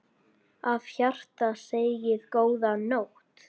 Af hjarta segið: GÓÐA NÓTT.